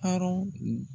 Arɔn